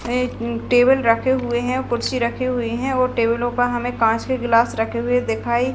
ये टेबल रखे हुए हैं कुर्सी रखी हुई हैं और टेबलों पे हमे कांच के ग्लास रखें हुई दिखाई--